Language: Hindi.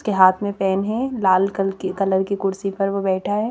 के हाथ में पेन है लाल कल की कलर की कुर्सी पर वो बैठा है।